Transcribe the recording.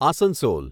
Asansol